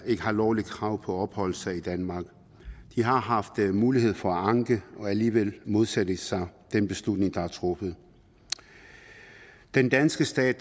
ikke har lovligt krav på at opholde sig i danmark de har haft mulighed for at anke og alligevel modsætter de sig den beslutning der er truffet den danske stat